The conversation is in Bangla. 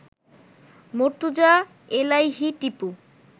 মর্তুজা এলাহি টিপু